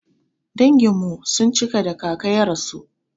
Danginmu sun cika da kaka ya rasu.